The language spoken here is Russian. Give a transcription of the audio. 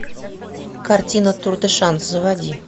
картина тур де шанс заводи